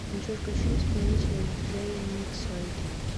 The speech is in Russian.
джой включи исполнителя диджей миксоид